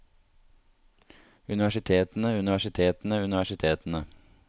universitetene universitetene universitetene